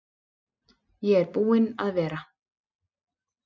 Ég er búinn að vera.